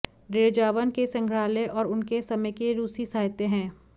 Derzhavin के संग्रहालय और उनके समय के रूसी साहित्य हैं